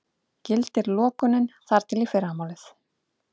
Gildir lokunin þar til í fyrramálið